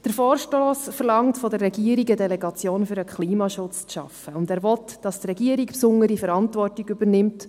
Der Vorstoss verlangt von der Regierung, es sei eine Delegation für den Klimaschutz zu schaffen, und er will, dass die Regierung eine besondere Verantwortung übernimmt.